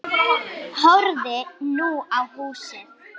Horfði nú á húsið.